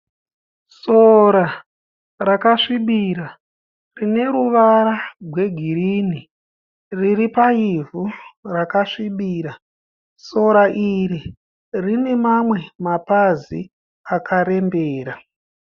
Sora rakasvibira rine ruvara gwegirinhi. Riri paivhu rakasvibira. Sora iri rine mamwe mapazi akarembera.